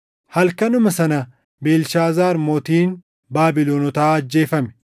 Halkanuma sana Beelshaazaar mootiin Baabilonotaa ajjeefame;